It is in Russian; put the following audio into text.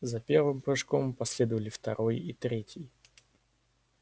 за первым прыжком последовали второй и третий